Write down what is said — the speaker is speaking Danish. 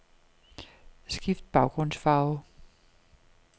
Skift baggrundsfarve.